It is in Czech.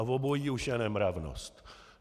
A obojí už je nemravnost.